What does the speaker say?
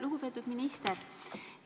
Lugupeetud minister!